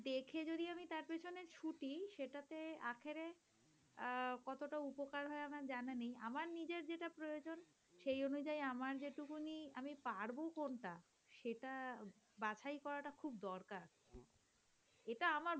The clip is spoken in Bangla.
আহ কতোটা উপকার হয় আমার জানা নেই। আমার নিজের যেটা প্রয়োজন সেই অনুযায়ী আমার যেটুকুনই আমি পারব কোনটা সেটা বাছাই করাটা খুব দরকার